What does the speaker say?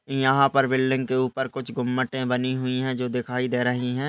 यहाँ पर बिल्डिंग के ऊपर कुछ घूमटे बनी हुए है। जो दिखाई दे रही है।